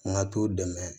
N ka t'o dɛmɛ